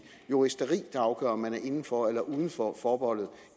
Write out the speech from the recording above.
juristeri der afgør om man er inden for eller uden for forbeholdet